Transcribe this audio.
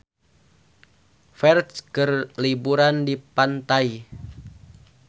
Ferdge keur liburan di pantai